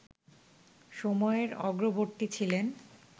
সময়ের অগ্রবর্তী ছিলেন